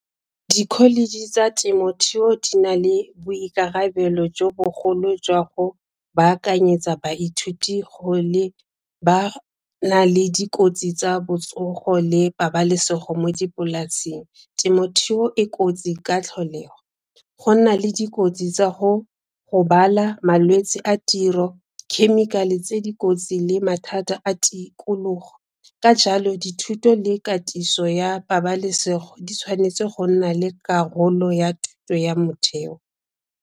Di-college tsa temothuo di na le boikarabelo jo bogolo jwa go baakanyetsa baithuti go lebana le dikotsi tsa botsogo le pabalesego mo dipolaseng. Temothuo e kotsi ka tlholego. Go nna le dikotsi tsa go gobala, malwetsi a tiro, khemikhale tse dikotsi le mathata a tikologo. Ka jalo dithuto le katiso ya pabalesego di tshwanetse go nna le karolo ya thuto ya motheo.